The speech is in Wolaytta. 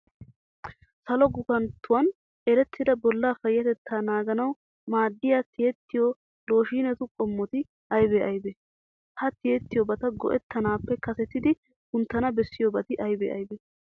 Salo gufanttuwan erettida Bollaa payyatettaa naaganawu maaddiya tiyettiyo looshiinetu qommoti aybee aybee? Ha tiyettiyobata go"ettanaappe kasetidi kunttana bessiyobati aybee aybee?